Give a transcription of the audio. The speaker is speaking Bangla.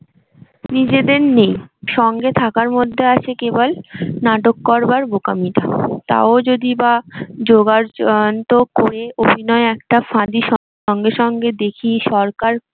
নিজেদের নেই সঙ্গে থাকা মধ্যে আছে কেবল নাট করবার বোকামিটা। তাও যদি বা জোগাড়যন্ত্র করে অভিনয় একটা ফাঁদি সঙ্গে সঙ্গে দেখি সরকার